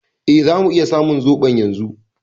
E, zamu iya samun zoɓon yanzu.